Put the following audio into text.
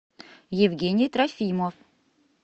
евгений трофимов